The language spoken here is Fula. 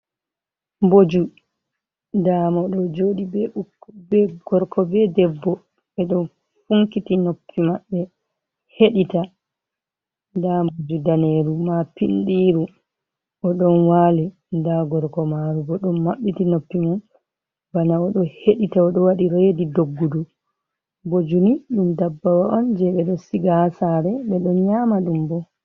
Mboju nda mo ɗo joɗi be gorko be debbo ɓe ɗo funkiti noppi maɓɓe heɗita. Nda Mboju daneru ma pindiru o ɗon wali nda gorko maru bo ɗon maɓɓiti noppi mo bana o ɗo heɗita o ɗo waɗi redi doggudu. Mboju ni ɗum dabbawa on je ɓe ɗo siga ha sare ɓe ɗo nyama ɗum bo.